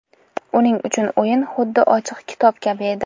Uning uchun o‘yin xuddi ochiq kitob kabi edi.